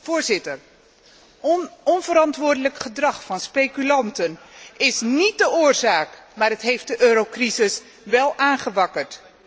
Voorzitter, onverantwoordelijk gedrag van speculanten is níet de oorzaak, maar het heeft de eurocrisis wel aangewakkerd.